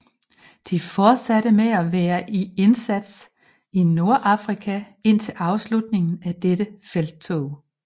De fortsatte med at være i indsats i Nordafrika indtil afslutningen af dette felttog